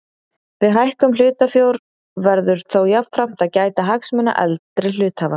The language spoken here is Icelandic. Við hækkun hlutafjár verður þó jafnframt að gæta hagsmuna eldri hluthafa.